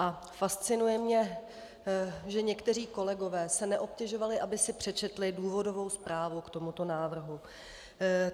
A fascinuje mě, že někteří kolegové se neobtěžovali, aby si přečetli důvodovou zprávu k tomuto návrhu.